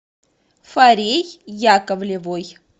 фарей яковлевой